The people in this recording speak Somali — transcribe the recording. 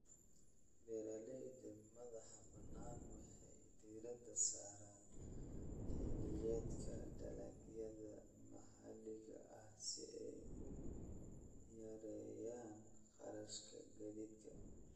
Beeralayda madaxa bannaan waxay diiradda saaraan xilliyeedka, dalagyada maxalliga ah si ay u yareeyaan kharashka gaadiidka.